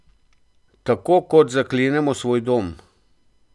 Tako kot zaklenemo svoj dom.